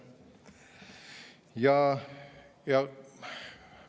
Aitäh!